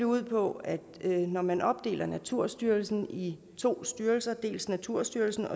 ud på at når man opdeler naturstyrelsen i to styrelser dels naturstyrelsen